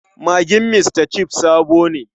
Magin Mr Chef sabo ne.